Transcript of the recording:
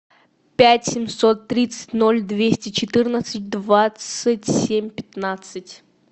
пять семьсот тридцать ноль двести четырнадцать двадцать семь пятнадцать